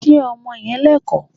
Ṣé ọmọ yẹn Lẹ́kọ̀ọ́?